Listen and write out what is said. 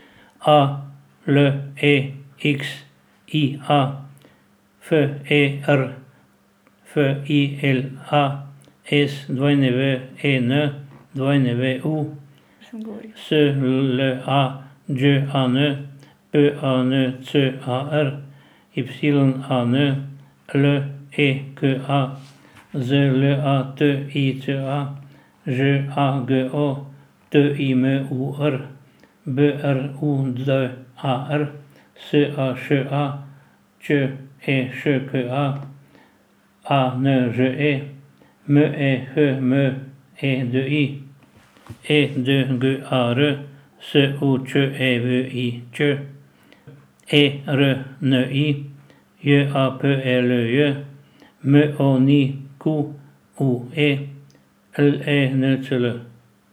A L E X I A, F E R F I L A; S W E N, W U; S L A Đ A N, P A N C A R; Y A N, L E K A; Z L A T I C A, Ž A G O; T I M U R, B R U D A R; S A Š A, Č E Š K A; A N Ž E, M E H M E D I; E D G A R, S U Č E V I Ć; E R N I, J A P E L J; M O N Q U E, L E N C L.